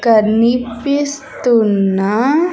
కనిపిస్తున్న.